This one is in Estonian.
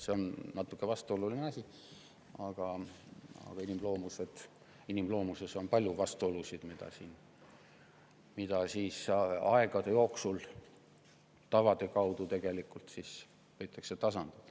See on natuke vastuoluline asi, aga inimloomuses ongi palju vastuolusid, mida aegade jooksul on püütud tavade kaudu tasandada.